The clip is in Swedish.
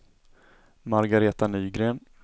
Margareta Nygren